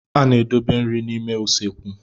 A na-edobe nri n'ime usekwu.